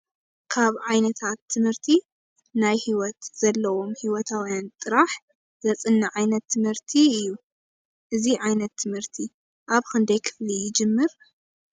ካብ ዓይነታት ትምህርቲ ናይ ሂወት ዘለዎመ ሂወታውያን ጥራሕ ዘፅንዕ ዓይነት ትምህርቲ እዩ:: እዚ ዓይነት ትምህርቲ ኣበ ክንደይ ክፍሊ ይጅምር ?